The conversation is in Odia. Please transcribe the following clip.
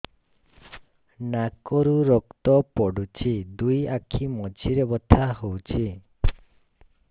ନାକରୁ ରକ୍ତ ପଡୁଛି ଦୁଇ ଆଖି ମଝିରେ ବଥା ହଉଚି